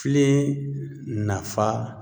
Filen nafa